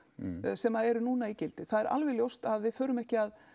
sem eru núna í gildi það er alveg ljóst að við förum ekki að